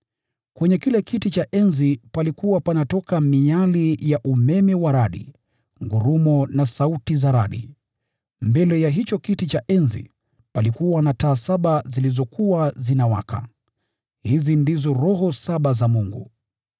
Kwenye kile kiti cha enzi palikuwa panatoka miali ya umeme wa radi, ngurumo na sauti za radi. Mbele ya kiti cha enzi, taa saba zilikuwa zinawaka. Hizi ndizo roho saba za Mungu.